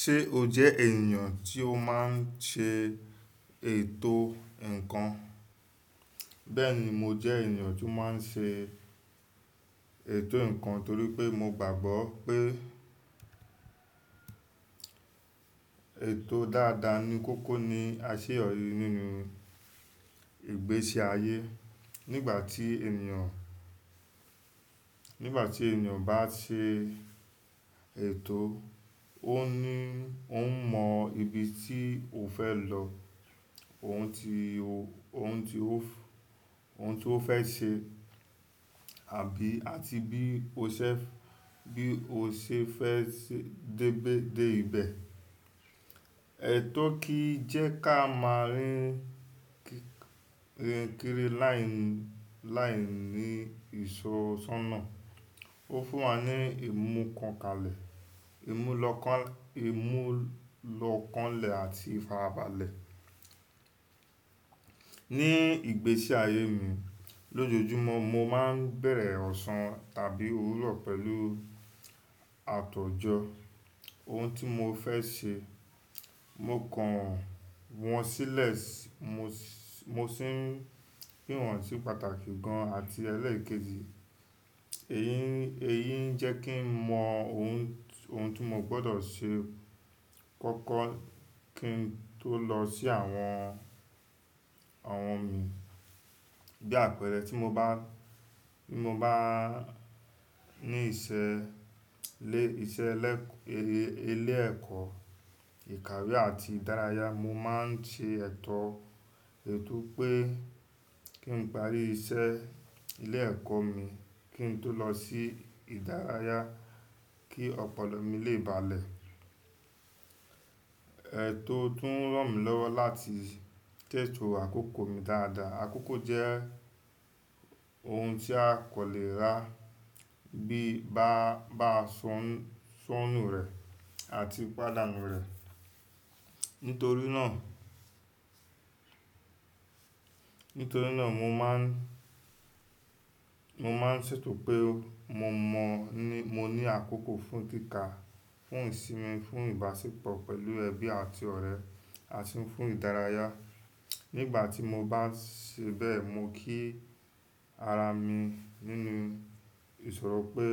Ṣé o jẹ́ ènìyàn tí ó máa ń ṣe ètò ǹkan? Bẹ́ẹ̀ni, mo jẹ́ ènìyàn tó máa ń ṣe ètò ǹkan torí pé mo gbàgbọ́ pé ètò dáadáa ní kókó ní àṣeyọrí nínú ìgbésí ayé. Nígbà tí ènìyàn, nígbà tí ènìyàn bá ṣe ètò ó ní, ó ń mọ ibi tí ó fẹ́ lọ, ohun tí ó, ohun tí ó fẹ́ ṣe àbí àti bí ó ṣe fẹ́, bí ó ṣe fẹ́ dé ibẹ̀. Ètò kí jẹ́ ká máa rìn kiri láìní ìsọnsọ́ná. Ó fún wa ní ìmúlọ́kànlẹ̀ àti ìfarabalẹ̀. Ní ìgbésí ayé mi, lójoojúmọ́ mo máa ń bẹ̀rẹ̀ ọ̀sán tàbí òwúrọ̀ pẹ̀lú àtòjọ ohun tí mo fẹ́ ṣe. Mo kàn wọ́n sílẹ̀, mo sì pín wọn sí pàtàkì gan-an àti ẹlẹ́ẹ̀kejì. Èyí ń jẹ́ kí n mọ ohun tí mo gbọ́dọ̀ ṣe kọ́kọ́ kí n tó lọ sí àwọn, àwọn mi bí àpẹẹrẹ tí mo bá ní ìṣe ilé ẹ̀kọ́, ìkàwé àti ìdárayá, mo máa ń ṣe ètò ètò pé kí n parí iṣẹ́ ilé ẹ̀kọ́ mi kí n tó lọ sí ìdárayá kí ọpọlọ mi lè balẹ̀. Ètò tún ràn mí lọ́wọ́ láti teto àkókò mi dáadáa. Àkókò jẹ́ ohun tí a kò lè rà bí a bá ṣọ́nù rẹ̀ àti pàdánù rẹ̀. Nítorí náà, nítorí náà mo máa ń ṣètò pé mo mọ ní, mo ní àkókò fún tíka, fún ìsinmi, fún ìbáṣepọ̀ pẹ̀lú ẹbí àti ọ̀rẹ́ àti fún ìdárayá. Nígbà tí mo bá ṣe bẹ́ẹ̀, mo kí ara mi nínú ìsọ̀rọ̀ pé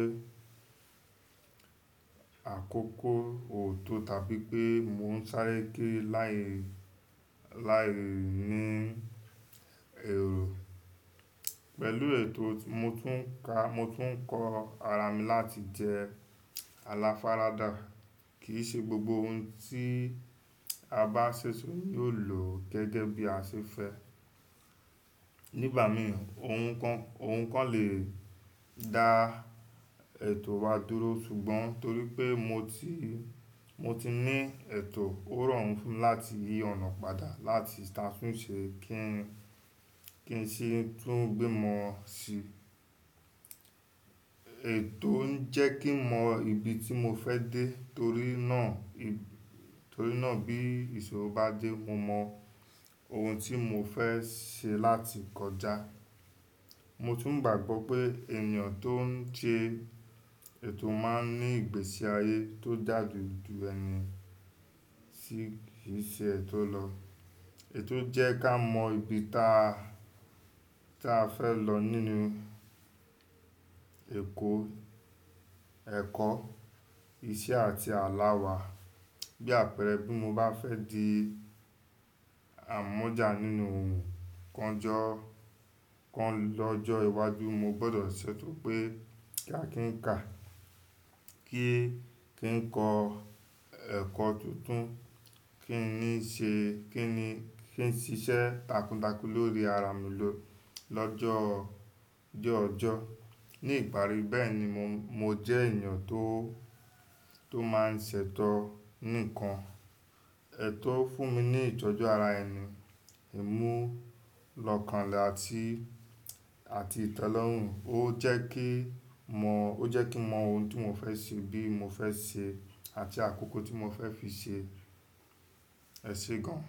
àkókò ò tó tàbí pé mò ń sáré ké láìní èrò. Pẹ̀lú ètò mo tún ka, mo tún kọ ara mi láti jẹ́ aláfara dá. Kì í ṣe gbogbo ohun tí a bá ṣẹ̀ṣẹ̀ ṣe yóò lọ gẹ́gẹ́ bí a ṣe fẹ́. Nígbà mìi ohun kan lè dá ètò wa dúró ṣùgbọ́n torí pé mo ti ní ètò ó ràn fún láti yí ọ̀nà padà láti ṣàfúnṣẹ́ kí n sì tún gbé mọ́ o sí. Ètò ń jẹ́ kí n mọ ibi tí mo fẹ́ dé torí náà bí ìṣòro bá dé mo mọ ohun tí mo fẹ́ ṣe láti kọjá. Mo tún gbàgbọ́ pé ènìyàn tó ń ṣe ètò máa ń ní ìgbésí ayé tó da ju ẹni tí kì í ṣe ètò lọ. Ètò jẹ́ ká mọ ibi táa fẹ́ lọ nínú èkó, ẹ̀kọ́, iṣẹ́ àti aláwà. Bí àpẹẹrẹ bí mo bá fẹ́ di àmọ̀já nínú ohun kan lọ́jọ́ iwájú mo gbọ́dọ̀ ṣètò pé kí a kí ka, kí n kọ ẹkọ tuntun, kí n ní ṣe, kí n ṣiṣẹ́ takuntakun lórí ara mi lọ́jọ́ ọjọ́. Ní ìparí bẹ́ẹ̀ ni mo jẹ́ ènìyàn tó máa ń ṣètò nìkan. Ètò fún mi ní ìtọ́jú ara ẹni, ìmúlọ́kànlẹ̀ àti ìtẹ́lọ́rùn. Ó jẹ́ kí mọ ohun tí mo fẹ́ ṣe bí mo fẹ́ ṣe àti àkókò tí mo fẹ́ fi ṣe ẹṣẹ gan.